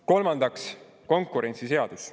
Kolmandaks, konkurentsiseadus.